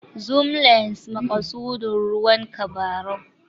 Zoom lens=maƙasudin ruwan tabarau